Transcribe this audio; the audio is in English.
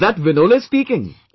Is that Vinole speaking